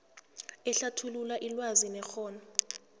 ehlathulula ilwazi nekghono